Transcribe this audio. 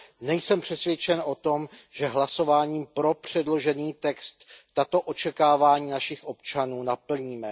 Nejsem přesvědčen o tom, že hlasováním pro předložený text tato očekávání našich občanů naplníme.